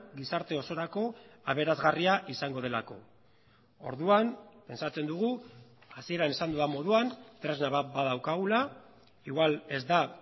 gizarte osorako aberasgarria izango delako orduan pentsatzen dugu hasieran esan dudan moduan tresna bat badaukagula igual ez da